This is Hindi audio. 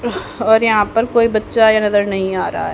और यहां पर कोई बच्चा ये नजर नहीं आ रहा है।